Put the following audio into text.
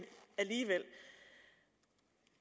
alligevel